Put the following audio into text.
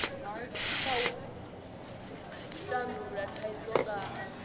kha u tandulula thaidzo nga